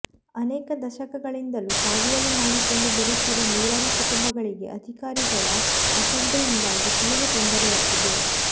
ಅನೇಕ ದಶಕಗಳಿಂದಲೂ ಸಾಗುವಳಿ ಮಾಡಿಕೊಂಡು ಬರುತ್ತಿರುವ ನೂರಾರು ಕುಟುಂಬಗಳಿಗೆ ಅಧಿಕಾರಿಗಳ ಅಸಡ್ಡೆಯಿಂದಾಗಿ ತೀವ್ರ ತೊಂದರೆಯಾಗಿದೆ